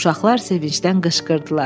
Uşaqlar sevincdən qışqırdılar.